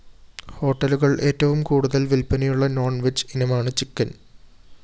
ഹോട്ടലുകള്‍ ഏറ്റവും കൂടുതല്‍ വില്‍പ്പനയുള്ള നോണ്‍വെജ് ഇനമാണ് ചിക്കൻ